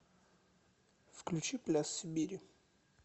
включи пляс сибири